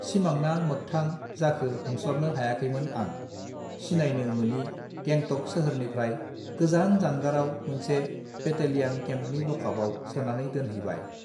सिमांना मोगथां जाखो हमस्लाबनो हायाखैमोन आं सिनायनो मोनि गेंटक सोहोरनिफ्राय गोजान जानगाराव मोनसे बेटेलियान केम्पनि लकापआव सोनानै दोनहैबाय